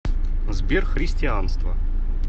сбер христианство